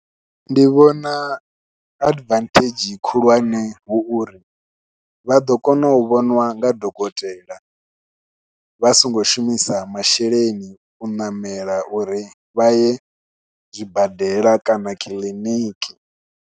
Ndi vhona advantage khulwane hu uri vha ḓo kona u vhoniwa nga dokotela vha songo shumisa masheleni u ṋamela uri vha ye zwibadela kana kiḽiniki.